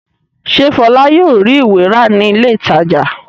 Ṣé Fọlá yóò rí ìwé rà ní ilé-ìtajà?